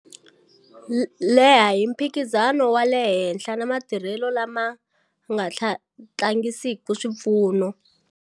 Leha hi mphikizano wa le henhla na matirhelo lama nga tlangisiki swipfuno.